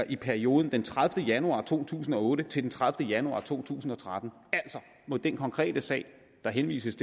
perioden fra den tredivete januar to tusind og otte til den tredivete januar to tusind og tretten altså må den konkrete sag der henvises